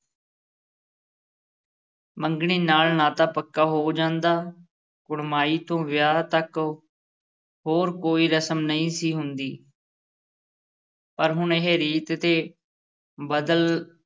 ਮੰਗਣੀ ਨਾਲ ਨਾਤਾ ਪੱਕਾ ਹੋ ਜਾਂਦਾ, ਕੁੜਮਾਈ ਤੋਂ ਵਿਆਹ ਤੱਕ ਹੋਰ ਕੋਈ ਰਸਮ ਨਹੀਂ ਸੀ ਹੁੰਦੀ ਪਰ ਹੁਣ ਇਹ ਰੀਤ ਤੇ ਬਦਲ